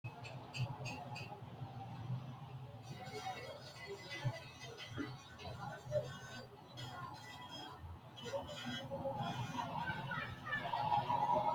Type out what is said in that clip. kiironsa batinye ikkitanno manni noohu giddo roorenka qaaqquullu callu no insara albanni hige adawu agaraano giddo mittu kameelu mule uurre afoosi tu"ire no